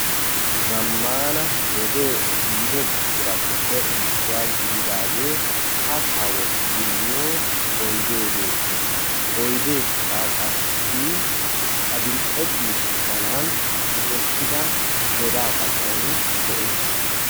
Zamanna wodee ehiddo buqquratuppe issuwaa gididdage kaatta wottidi miyoo oyde beettes, oydekka qassi adil'e ciishsha malan tiyettida godaa xaphphon de'es.